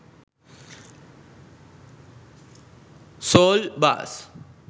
saul bass